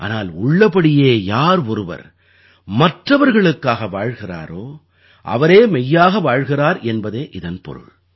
ஆனால் உள்ளபடியே யார் ஒருவர் மற்றவர்களுக்காக வாழ்கிறாரோ அவரே மெய்யாக வாழ்கிறார் என்பதே இதன் பொருள்